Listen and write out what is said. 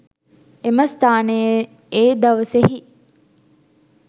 එම ස්ථානයේ ඒ දවසෙහි